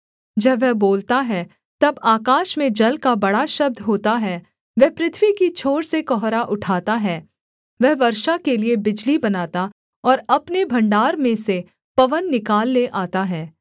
जब वह बोलता है तब आकाश में जल का बड़ा शब्द होता है वह पृथ्वी की छोर से कुहरा उठाता है वह वर्षा के लिये बिजली बनाता और अपने भण्डार में से पवन निकाल ले आता है